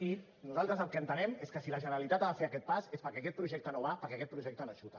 i nosaltres el que entenem és que si la generalitat ha de fer aquest pas és perquè aquest projecte no va perquè aquest projecte no xuta